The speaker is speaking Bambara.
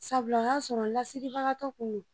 Sabula o y'a sɔrɔ n lasiribagatɔ kun don.